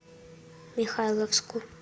михайловску